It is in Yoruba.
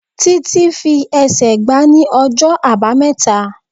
Títí fi ẹsẹ̀ gbá ní ọjọ́ Àbámẹ́ta.